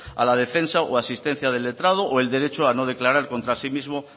a la defensa o asistencia del letrado o el derecho a no declarar contra sí mismo